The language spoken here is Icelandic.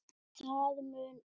það mun upp